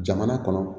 Jamana kɔnɔ